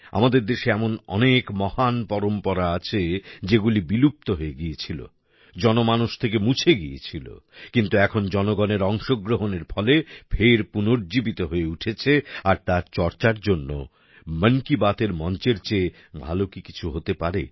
আমাদের দেশে এমন অনেক মহান পরম্পরা আছে যেগুলি বিলুপ্ত হয়ে গিয়েছিল জনমানস থেকে মুছে গিয়েছিল কিন্তু এখন জনগণের অংশগ্রহণের ফলে ফের পুনর্জীবিত হয়ে উঠেছে আর তার চর্চার জন্য মন কি বাতের মঞ্চের চেয়ে ভালো কি কিছু হতে পারে